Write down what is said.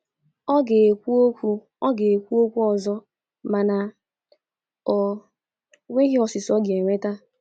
ọ ga-ekwu okwu ọ ga-ekwu okwu ọzọ mana o nweghi ọsịsa o ga-enweta